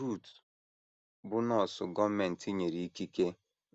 Ruth, bụ́ nọọsụ gọọmenti nyere ikike,